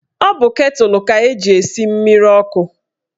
Ọ bụ ketụl ka eji esi mmiri ọkụ